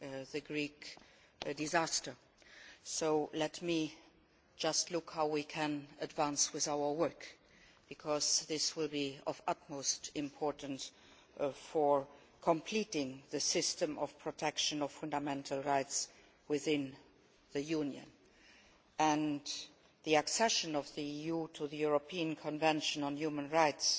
the Greek disaster, so let me just look at how we can advance with our work because this will be of the utmost importance for completing the system of protection of fundamental rights within the Union, and the accession of the EU to the European Convention on Human Rights,